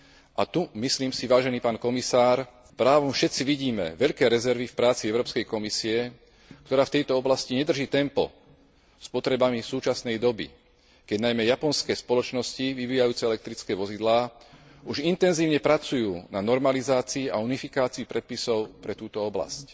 A tu myslím si, vážený pán komisár, právom všetci vidíme veľké rezervy v práci Európskej komisie, ktorá v tejto oblasti nedrží tempo s potrebami súčasnej doby, keď najmä japonské spoločnosti vyvíjajúce elektrické vozidlá už intenzívne pracujú na normalizácii a unifikácii predpisov pre túto oblasť.